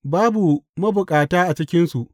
Babu mabukata a cikinsu.